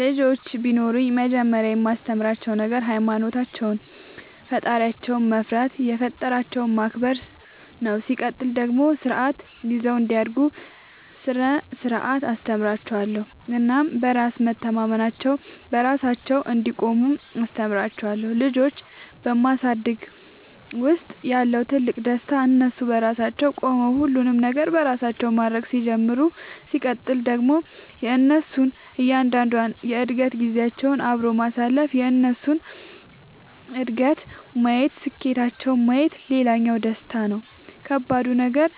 ልጆች ቢኖሩኝ መጀመሪያ የማስተምራቸዉ ነገር ሃይማኖታቸውን ፈጣሪያቸውን መፍራት የፈጠራቸውን ማክበር ነው ሲቀጥል ደግሞ ስርዓት ይዘው እንዲያድጉ ስነ ስርዓት አስተምራችኋለሁ እናም በራስ መተማመናቸውን, በራሳቸው እንዲቆሙ አስተምራቸዋለሁ። ልጆች በማሳደግ ውስጥ ያለው ትልቁ ደስታ እነሱ በራሳቸው ቆመው ሁሉንም ነገር በራሳቸው ማድረግ ሲጀምሩ ሲቀጥል ደግሞ የእነሱን እያንዳንዷን የእድገት ጊዜያቸውን አብሮ ማሳለፍ የእነሱን እድገት ማየት ስኬታቸውን ማየት ሌላኛው ደስታ ነው። ከባዱ ነገር